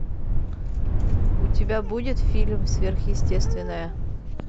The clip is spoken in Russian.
у тебя будет фильм сверхъестественное